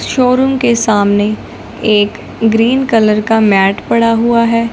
Show room के सामने एक ग्रीन कलर का मैंट पड़ा हुआ है।